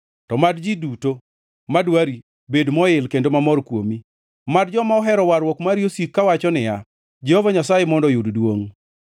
To mad ji duto madwari bed moil kendo mamor kuomi; mad joma ohero warruok mari osik kawacho niya, “Jehova Nyasaye mondo oyud duongʼ!”